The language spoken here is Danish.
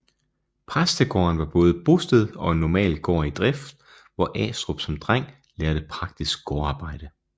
Præstegården var både bosted og en normal gård i drift hvor Astrup som dreng lærte praktisk gårdarbejde